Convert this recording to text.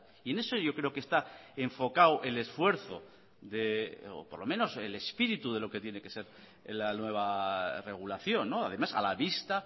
y en eso yo creo que está enfocado el esfuerzo de o por lo menos el espíritu de lo que tiene que ser la nueva regulación además a la vista